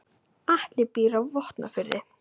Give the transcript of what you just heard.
Atli býr á Vopnafirði.